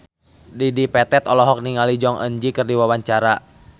Dedi Petet olohok ningali Jong Eun Ji keur diwawancara